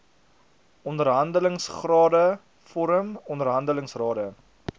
onderhandelingsrade vorm onderhandelingsrade